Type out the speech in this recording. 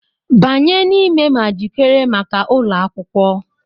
Banye n'ime ma jikere maka ụlọ akwụkwọ!